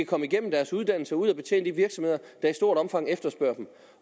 komme igennem deres uddannelse og ud at betjene de virksomheder der i stort omfang efterspørger dem